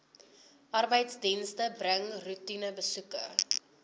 arbeidsdienste bring roetinebesoeke